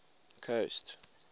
coast